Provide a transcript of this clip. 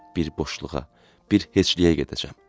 Bir boşluğa, bir heçliyə gedəcəm.